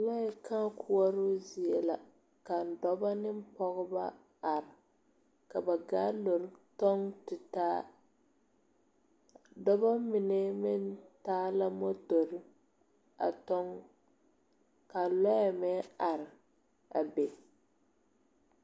Lɔɛ kãã koɔroo zie la ka dɔba ne pɔgeba are ka ba gaalore tɔŋ tutaa dɔba mine meŋ taa la motore a tɔŋ ka lɔɛ meŋ are a be.